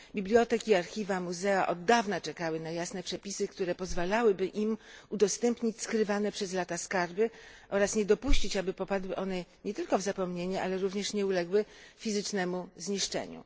Biblioteki, archiwa, muzea od dawna czekały na jasne przepisy, które pozwalałyby im udostępnić przez lata skrywane skarby oraz nie dopuścić, aby popadły one nie tylko w zapomnienie, ale również nie uległy fizycznemu zniszczeniu.